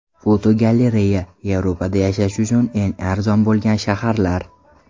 Fotogalereya: Yevropada yashash uchun eng arzon bo‘lgan shaharlar.